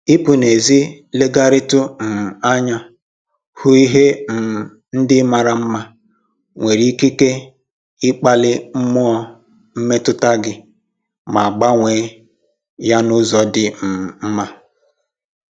Ịpụ n'ezi legharịtụ um anya hụ ihe um ndị mara mma nwere ikike ikpali mmụọ mmetụta gị ma gbanwee ya n'ụzọ dị um mma